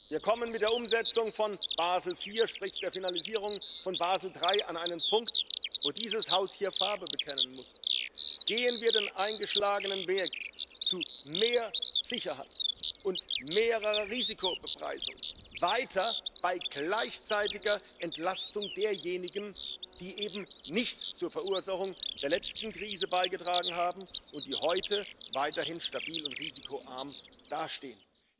Wir kommen mit der Umsetzung von Basel IV sprich der Finalisierung von Basel III an einen Punkt, wo dieses Haus hier Farbe bekennen muss Gehen wir den eingeschlagenen Weg zu mehr Sicherheit und höherer Risikobepreisung weiter bei gleichzeitiger Entlastung derjenigen, die eben nicht zur Verursachung der letzten Krise beigetragen haben und die heute weiterhin stabil und risikoarm dastehen?